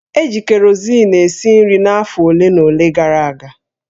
E ji kerosin esi nri afọ ole na ole gara aga